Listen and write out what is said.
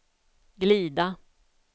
glida